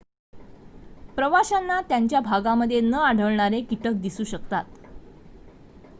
प्रवाशांना त्यांच्या भागांमध्ये न आढळणारे कीटक दिसू शकतात